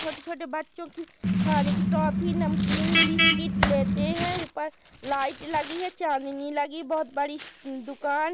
छोटे छोटे बच्चों की खाने की टॉफी नमकीन बिस्किट लेते हैं ऊपर लाइट लगी है चांदनी लगी बहोत बड़ी सी दुकान--